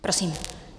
Prosím.